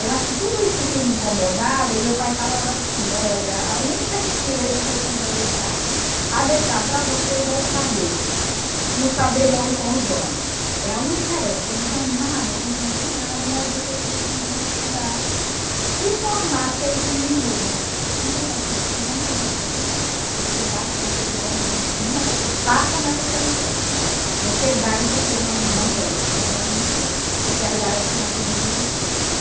eu acho que tudo isso que me incomodava, e meu pai falava assim, olha, a única riqueza que eu tenho para deixar, a deixar para vocês é o saber, e o saber morre com os donos, é a única herança, não tenho nada, a gente não tem nada, mas vocês precisam estudar, se formar, porque isso ninguém rouba, ninguém vai tirar, vocês vão morrer com isso, você dá, se você quiser, você ensina, você passa, mas você não perde, você dá e você não não perde, então isso eu quero garantir na vida de vocês.